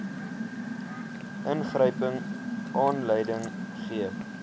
ingryping aanleiding gee